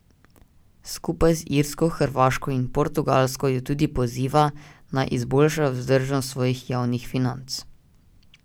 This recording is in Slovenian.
Skupaj z Irsko, Hrvaško in Portugalsko jo tudi poziva, naj izboljšajo vzdržnost svojih javnih financ.